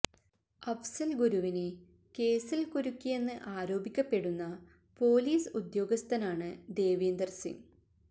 അഫ്സല് ഗുരുവിനെ കേസില് കുരുക്കിയെന്ന് ആരോപിക്കപ്പെടുന്ന പൊലീസ് ഉദ്യോഗസ്ഥനാണ് ദേവീന്ദര് സിംഗ്